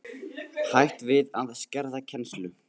Hætt við að skerða kennslu